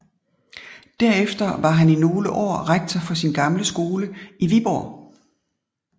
Derefter var han i nogle år rektor for sin gamle skole i Viborg